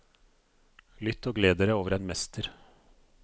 Lytt og gled dere over en mester.